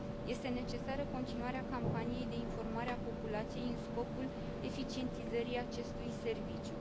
Este necesară continuarea campaniei de informare a populației în scopul eficientizării acestui serviciu.